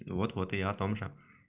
вот-вот и я о том же